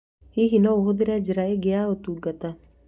Hihi no ũhagũre njĩra ingĩ ya ũtungata?